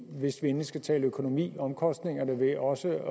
hvis vi endelig skal tale økonomi at omkostningerne ved også